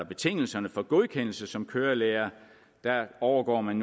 betingelserne for godkendelse som kørelærer der overgår man